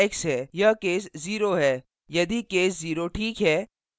यह case 0 है यदि case 0 this है